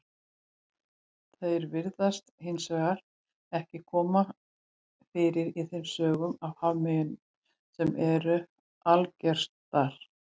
Þeir virðast hins vegar ekki koma fyrir í þeim sögum af hafmeyjum sem eru algengastar.